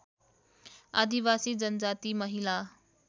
आदिवासी जनजाति महिला